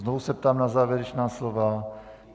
Znovu se ptám na závěrečná slova.